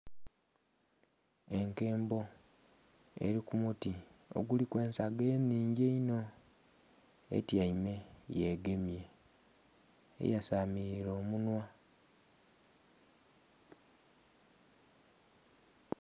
Enkembo erikumuti oguliku ensaga enhingi einho etyaime yegemye eyasamilile omunhwa.